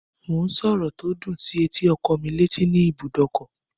Mò ń sọ̀rọ̀ tó dùn sí etí ọkọ́ mí létí ní ibùdókọ̀